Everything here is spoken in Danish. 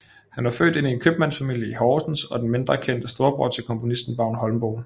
Han var født ind i en købmandsfamilie i Horsens og den mindre kendte storbror til komponisten Vagn Holmboe